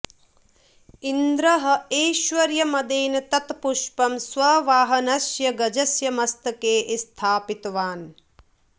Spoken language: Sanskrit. इन्द्रः ऐश्वर्यमदेन तत् पुष्पं स्ववाहनस्य गजस्य मस्तके स्थापितवान्